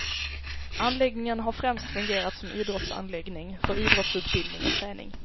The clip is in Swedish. Anläggningen har främst fungerat som idrottsanläggning, för idrottsutbildning och träning.